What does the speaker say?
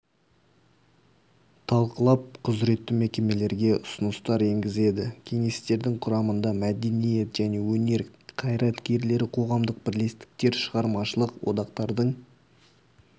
талқылап құзыретті мекемелерге ұсыныстар енгізеді кеңестердің құрамында мәдениет және өнер қайраткерлері қоғамдық бірлестіктер шығармашылық одақтардың